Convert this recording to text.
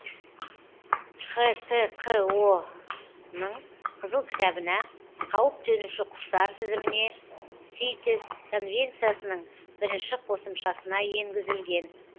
хтқо ның қызыл кітабына қауіп төнуші құстар тізіміне ситес конвенциясының бірінші қосымшасына енгізілген